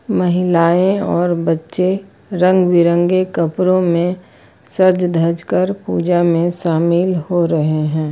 महिलाएं और बच्चे रंग बिरंगे कपड़ों में सज धज कर पूजा में शामिल हो रहे हैं।